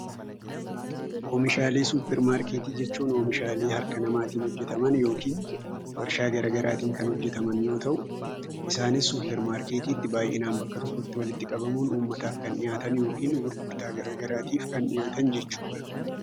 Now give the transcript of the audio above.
Oomishaalee supermarketii jechuun oomishaalee harka namaatiin hojjetaman warshaa garaa garaatiin kan hojjetaman yoo ta'u isaannis baayyinaan supermarketiitti baayyinaan kan walitti qabamanii yookiin uummataaf kan dhiyaatanii gurguraman jechuu dha.